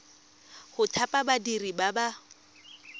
go thapa badiri ba ba